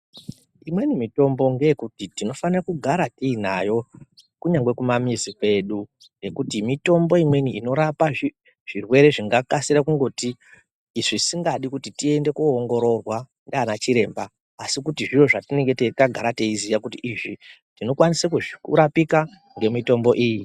Imweni mitombo ngeyekuti tinofane kugara tiinayo kunyangwe kumamizi kwedu nekuti mitombo imweni inorapa zvirwere zvingakasira kungoti zvisingadi kuti tiende kunoongororwa ndiana chiremba asi kuti zviro zvatinemge tagara teiziya kuti izvi tinokwanisa kuzvirapika nemitombo iyi.